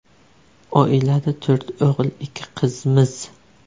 Oilada to‘rt o‘g‘il, ikki qizmiz.